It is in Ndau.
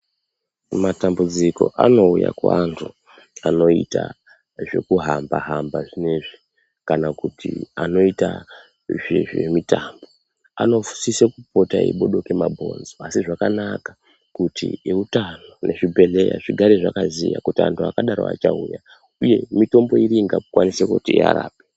Matambudziko anouya kuantu anoita zvekuhamba hamba zviyezvi kana kuti anoita zvizvemutambo anosise kupota eibude kwemabhonzo Asi zvakanaka kuti eutano nezvibhedhleya zvigare zvakaziya kuti antu akadaro achauya uye mitombo iri ingakwanise kuti tiarape.